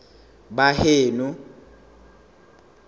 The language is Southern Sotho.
baheno